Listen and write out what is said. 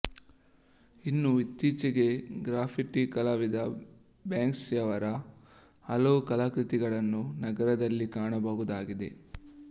ಇನ್ನೂ ಇತ್ತೀಚೆಗೆ ಗ್ರ್ಯಾಫಿಟಿ ಕಲಾವಿದ ಬ್ಯಾಂಕ್ಸ್ಕಿಯವರ ಹಲವು ಕಲಾಕೃತಿಗಳನ್ನು ನಗರದಲ್ಲಿ ಕಾಣಬಹುದಾಗಿದೆ